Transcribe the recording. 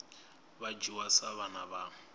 vha dzhiwa sa vhana vha